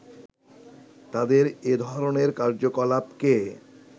তাদের এ ধরণের কার্যকলাপকে